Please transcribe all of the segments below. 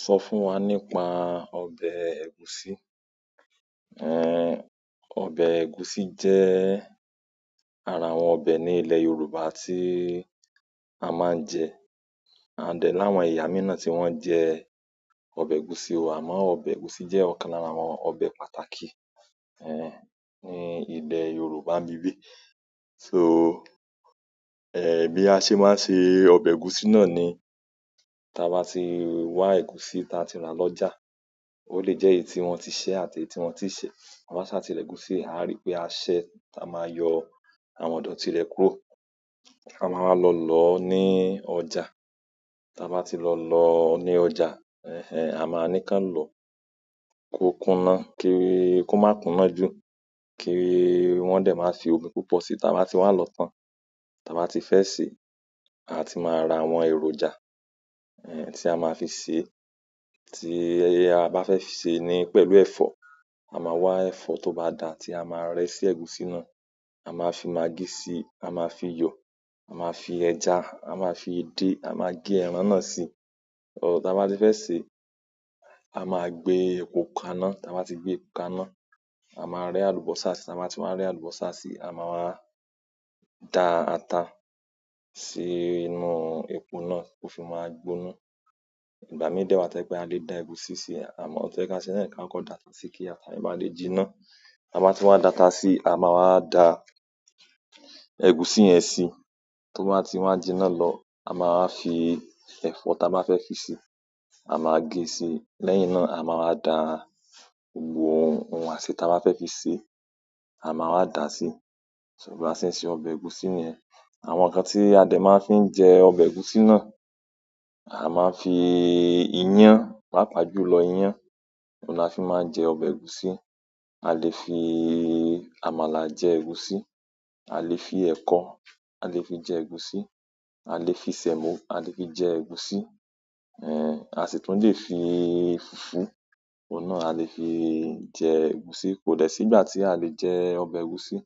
Sọ fún wa nípa ọbẹ̀ ẹ̀gúsí. Ẹn, ọbẹ̀ ẹ̀gúsí jẹ́ ara àwọn ọbẹ̀ ní ilẹ̀ Yorùbá tí a máa ń jẹ. A dẹ̀ láwọn ẹ̀yà míì náà tí wọ́n ń jẹ ọbẹ̀ ẹ̀gúsí wa, àmọ́ ọbẹ̀ ẹ̀gúsí jẹ́ ọ̀kan lára àwọn ọbẹ̀ pàtàkì, ẹh, ní ilẹ̀ Yorùbá nbibi. So, ẹ, bí a ṣe máa ń se ọbẹ̀ ẹ̀gúsí náà ni táa bá ti wá ẹ̀gúsí ta ti rà lọ́jà, ó lè jẹ́ èyí tí wọ́n ti ṣẹ́ àti èyí tí wọ́n ti ṣe. Ta bá sá ti rẹ̀ ẹgúsí, a ríi pé a ṣẹ́, a máa yọ àwọn idọti re kúrò. Won a wá lọ lọ̀ ní ọjà. Táa bá ti lọ lọ ní ọjà, ẹh ẹh, a máa ní kán lọ, kó kuná kí ó má kuná jù, kí wọ́n dé máa fi omi púpọ̀ sí i. Táa bá ti wá lọ tán, táa bá ti fẹ́ sè, a ti máa ra àwọn èròjà, ẹh, tí a máa fi sè é. Tí a bá fẹ́ sè é ni pẹ̀lú ẹ̀fọ́, a máa wá ẹ̀fọ́ tó bá dà tí a máa rẹ́ sí ẹ̀gúsí náà. A máa fi magí sí i, a máa fi iyọ, a máa fi ẹja, a máa fi edé, a máa gé ẹran náà sí i. Táa bá ti fẹ́ sèé, a máa gbé epo kaná, táa bá ti gbé epo kaná, a máa rẹ́ àlùbọ́sà sí i, táa bá ti wá rẹ́ àlùbọ́sà sí i, a máa wá da ata sí inú epo náà, to fi máa gbóná. Ìgbà mí de wa to jépé a lè da ẹ̀gúsí sí i, àmọ́ ohun tó yẹ ká se náà kí á kọ dáta sí i kí ata yen ba lè jinná. Ta baa ti wá dáta sí i, a máa wá da ẹ̀gúsí yẹn sí i. Tó bá ti wá jinná lọ, a máa wa fi ẹ̀fọ́ táa bá fẹ́ fi sè, a máa gé sí i. Lẹ́yìn náà a máa wá da gbogbo ohun ohun àsè táa bá fẹ́ fi sè, a máa wá dà á sí i. So bá ṣe ń se ọbẹ̀ ẹ̀gúsí niyen. Àwọn nkan ti a de ma fi n jẹ ọbẹ egusi na, a ma n fi iyan papa jùlọ iyan ohun ni a ma n fi n jẹ ọbẹ egusi. A le fi àmàlà jẹ ẹ̀gúsí, a le fi eko a le fi jẹ egusi, a le fi semo a le fi jẹ ẹ̀gúsí, en a sì tún lè fi fùfú, òun náà a lè fi jẹ ẹ̀gúsí. Kò dẹ̀ sí ìgbà tí a lè jẹ ọbẹ̀ ẹ̀gúsí.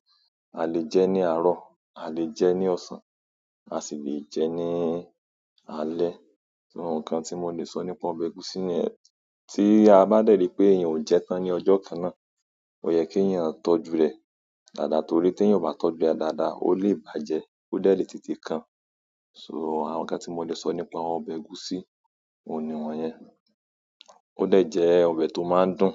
A lè jẹ ní àárọ̀, a lè jẹ ní ọ̀sán, a sì lè jẹ ní alẹ́. Ohun kan tí mo lè sọ nípa ọbẹ̀ ẹ̀gúsí ni yen, tí a bá dẹ̀ ri pé èèyàn ò jẹ tán ní ọjọ́ kan náà, ò yẹ kí èèyàn tọ́jú rẹ̀ dáadáa torí tí èèyàn ò bá tọ́jú rẹ̀ dáadáa, ó lè bàjẹ́, ó dẹ le tètè kan. So àwọn nǹkan tí mo le sọ nípa ọbẹ̀ ẹ̀gúsí òun ni wọ́n yẹn. Ó dẹ̀ jẹ́ ọbẹ̀ tó máa ń dùn.